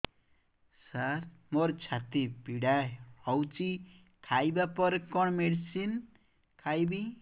ସାର ମୋର ଛାତି ପୀଡା ହଉଚି ଖାଇବା ପରେ କଣ ମେଡିସିନ ଖାଇବି